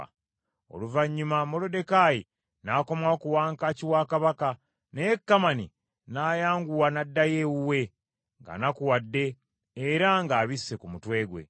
Oluvannyuma Moluddekaayi n’akomawo ku wankaaki wa Kabaka, naye Kamani n’ayanguwa n’addayo ewuwe, ng’anakuwadde era ng’abisse ku mutwe gwe,